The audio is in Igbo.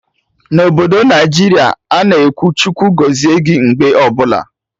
Na obodo Naijiria a-na ekwu 'Chukwu gọzie gị' mgbe ọbụla